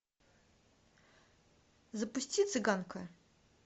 запусти цыганка